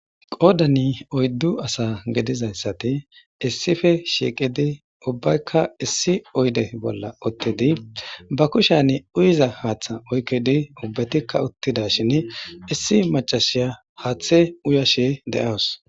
Qoddan oyddu asa giddizayssati issippe shiqqidi ubbaykka issi oydde bolla uttidi ba kushshiyan uuyizza haththa oykkidi ubbatika uttidashin issi maccasiya haaththe uuyashe de'awusu.